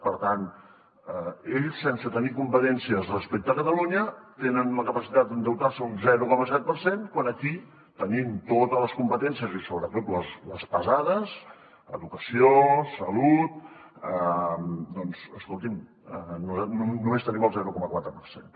per tant ells sense tenir competències respecte a catalunya tenen la capacitat endeutar se un zero coma set per cent quan aquí tenim totes les competències i sobretot les pesades educació salut doncs escolti’m nosaltres només tenim el zero coma quatre per cent